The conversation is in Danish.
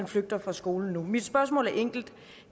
flygter fra skolen nu mit spørgsmål er enkelt